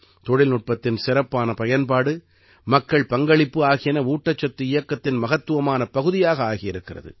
தொழில்நுட்பத்தின் சிறப்பான பயன்பாடு மக்கள் பங்களிப்பு ஆகியன ஊட்டச்சத்து இயக்கத்தின் மகத்துவமான பகுதியாக ஆகியிருக்கிறது